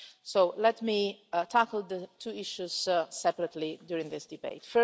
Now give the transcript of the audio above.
So let me tackle the two issues separately during this debate.